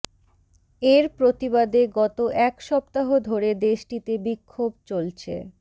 এর প্রতিবাদে গত এক সপ্তাহ ধরে দেশটিতে বিক্ষোভ চলছে